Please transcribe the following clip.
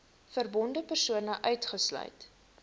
verbonde persone uitgesluit